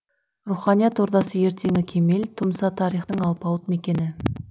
руханият ордасы ертеңі кемел тұмса тарихтың алпауыт мекені